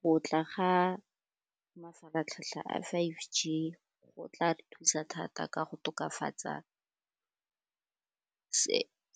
Go tla ga mafaratlhatlha a five G go tla re thusa thata ka go tokafatsa